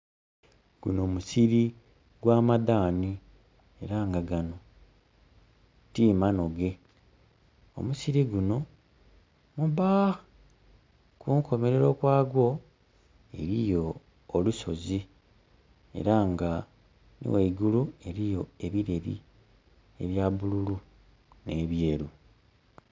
Gunho musiri gwa madhaani era nga ganho ti manhoge. Omusiri gunho mubba, kunkomerero kwagwo eriyo olusozi era nga nhi gheigulu eriyo ebireri ebya bulu nhe byeru.